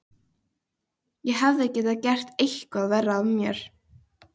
Ég hefði getað gert eitthvað verra af mér.